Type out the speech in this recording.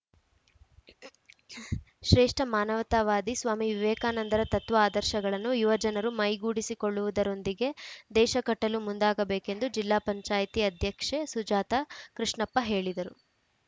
ಶ್ರೇಷ್ಠ ಮಾನವತಾವಾದಿ ಸ್ವಾಮಿ ವಿವೇಕಾನಂದರ ತತ್ವ ಆದರ್ಶಗಳನ್ನು ಯುವ ಜನರು ಮೈಗೂಡಿಸಿ ಕೊಳ್ಳುವುದರೊಂದಿಗೆ ದೇಶ ಕಟ್ಟಲು ಮುಂದಾಗಬೇಕೆಂದು ಜಿಲ್ಲಾ ಪಂಚಾಯ್ತಿ ಅಧ್ಯಕ್ಷೆ ಸುಜಾತ ಕೃಷ್ಣಪ್ಪ ಹೇಳಿದರು